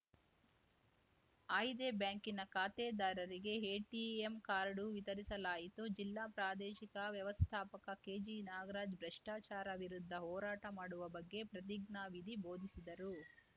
ಆಯ್ದೆ ಬ್ಯಾಂಕಿನ ಖಾತೆದಾರರಿಗೆ ATM card ವಿತರಿಸಲಾಯಿತು ಜಿಲ್ಲಾ ಪ್ರಾದೇಶಿಕ ವ್ಯವಸ್ಥಾಪಕ ಕೆಜಿನಾಗ್ರಾಜ್‌ ಭ್ರಷ್ಟಾಚಾರ ವಿರುದ್ಧ ಹೋರಾಟ ಮಾಡುವ ಬಗ್ಗೆ ಪ್ರತಿಜ್ಞಾ ವಿಧಿ ಬೋಧಿಸಿದರು